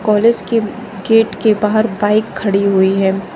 College की gate के बाहर बाइक खड़ी हुई है।